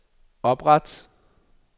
opret